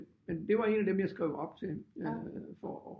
Men det var en af dem jeg skrev op til for at